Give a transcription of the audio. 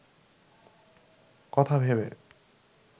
কথা ভেবে